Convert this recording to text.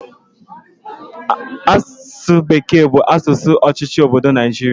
Asụsụ bekee bụ asụsụ ọchịchị obodo Naijiria